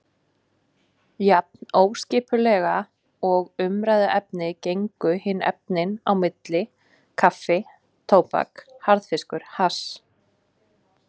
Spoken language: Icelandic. Jafn óskipulega og umræðuefnin gengu hin efnin á milli: kaffi tóbak harðfiskur hass.